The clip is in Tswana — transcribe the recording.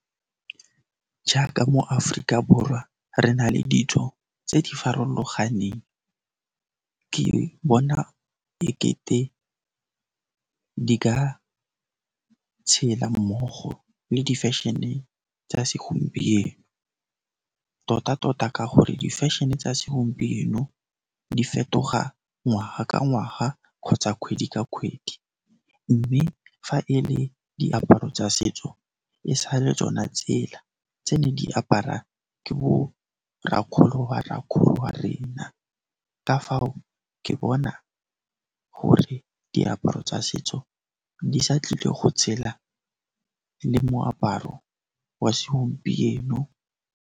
Jaaka mo Aforika Borwa re na le ditso tse di farologaneng ke bona ekete ka di ka tshela mmogo le di-fashion-e tsa segompieno tota tota ka gore di-fashion-e tsa segompieno di fetoga ngwaga ka ngwaga kgotsa kgwedi ka kgwedi mme fa e le diaparo tsa setso e sa le tsona tsela tse ne di apara ke bo rrakgolo wa rrakgolo wa rena ka fao ke bona gore diaparo tsa setso di sa tlile go tshela le moaparo wa segompieno.